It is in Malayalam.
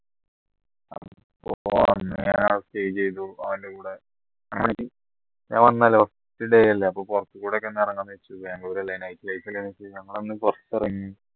stay ചെയ്തു അവൻറെ കൂടെ ഞാൻ വന്നല്ലേ first day ല്ലേ അപ്പൊ പുറത്തുകൂടെ ന്നിറങ്ങാന്ന് വിചാരിച്ചു ബാംഗ്ലൂർ അല്ലേ night life ല്ലേ വെച്ച് ഞങ്ങൾ ഒന്ന് പുറത്തിറങ്ങി